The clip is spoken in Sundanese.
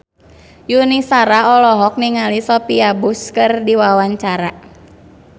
Yuni Shara olohok ningali Sophia Bush keur diwawancara